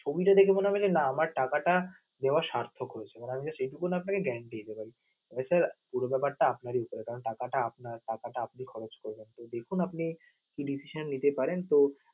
ছবি দেখে যে মনে হবে যে না আমার টাকাটা দেওয়া সার্থক হয়েছে মানে আমি just এইটুকু আপনাকে guarantee দিতে পারি তবে sir পুরো বেপারটা আপনারই দিতে হবে কারণ টাকাটা আপনার টাকাটা আপনি খরচ করবেন তো দেখুন আপনি কি decision নিতে পারেন তো